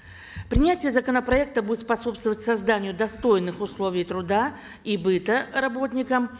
принятие законопроекта будет способствовать созданию достойных условий труда и быта работникам